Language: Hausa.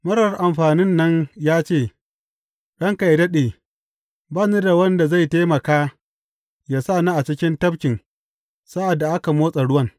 Marar amfanin nan ya ce, Ranka yă daɗe, ba ni da wanda zai taimaka yă sa ni a cikin tafkin sa’ad da aka motsa ruwan.